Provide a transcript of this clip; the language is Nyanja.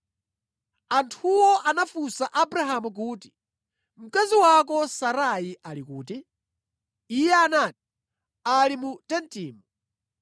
Anthuwo anafunsa Abrahamu kuti, “Mkazi wako Sara ali kuti?” Iye anati, “Ali mu tentimu.”